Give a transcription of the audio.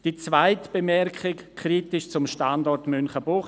Die zweite Bemerkung betrifft den Standort Münchenbuchsee.